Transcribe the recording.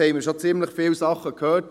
Wir haben schon ziemlich viel gehört.